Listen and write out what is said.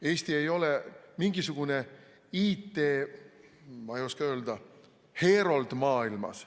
Eesti ei ole mingisugune, ma ei oska öelda, IT‑heerold maailmas.